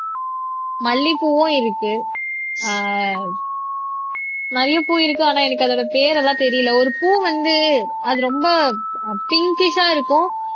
மல்லிப்பூவும் இருக்கு ஆஹ் நிறைய பூ இருக்கு ஆனா எனக்கு அதோட பேர் எல்லாம் தெரியலே ஒரு பூ வந்து அது ரொம்ப அஹ் பிங்கிஷா இருக்கும்